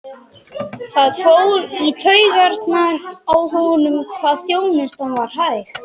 Það fór í taugarnar á honum hvað þjónustan var hæg.